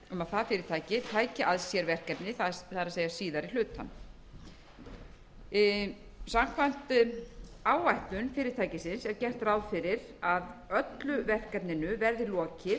er síðari hlutann samkvæmt áætlun fyrirtækisins er gert ráð fyrir að öllu verkefninu verði lokið á árinu tvö þúsund og